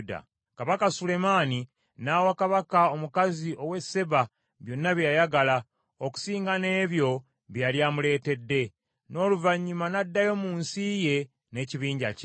Kabaka Sulemaani n’awa Kabaka omukazi w’e Seeba byonna bye yayagala, okusinga n’ebyo bye yali amuleetedde. N’oluvannyuma n’addayo mu nsi ye n’ekibinja kye.